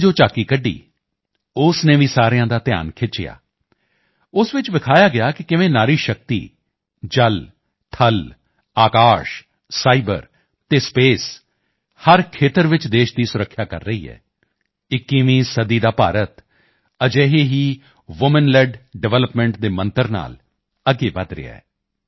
ਨੇ ਜੋ ਝਾਕੀ ਕੱਢੀ ਉਸ ਨੇ ਵੀ ਸਾਰਿਆਂ ਦਾ ਧਿਆਨ ਖਿੱਚਿਆ ਉਸ ਚ ਵਿਖਾਇਆ ਗਿਆ ਕਿ ਕਿਵੇਂ ਨਾਰੀ ਸ਼ਕਤੀ ਜਲ ਥਲ ਆਕਾਸ਼ ਸਾਈਬਰ ਅਤੇ ਸਪੇਸ ਹਰ ਖੇਤਰ ਚ ਦੇਸ਼ ਦੀ ਸੁਰੱਖਿਆ ਕਰ ਰਹੀ ਹੈ 21ਵੀਂ ਸਦੀ ਦਾ ਭਾਰਤ ਅਜਿਹੇ ਹੀ ਵੂਮਨ ਲੇਡ ਡਿਵੈਲਪਮੈਂਟ ਦੇ ਮੰਤਰ ਨਾਲ ਅੱਗੇ ਵਧ ਰਿਹਾ ਹੈ